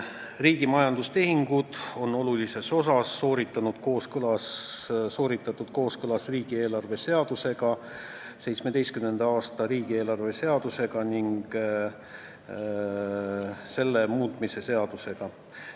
Riigi majandustehingud on olulises osas sooritatud kooskõlas riigieelarve seadusega, 2017. aasta riigieelarve seadusega ning selle muutmise seadusega.